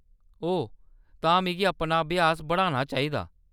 ओह्‌‌, तां में अपना अभ्यास बढ़ाना चाहिदा।